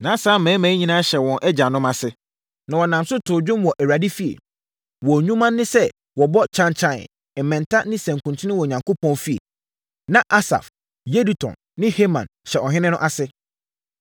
Na saa mmarima yi nyinaa hyɛ wɔn agyanom ase, na wɔnam so too nnwom wɔ Awurade fie. Wɔn nnwuma ne sɛ wɔbɔ kyankyan, mmɛnta ne nsankuten wɔ Onyankopɔn fie. Na Asaf, Yedutun ne Heman hyɛ ɔhene no ase.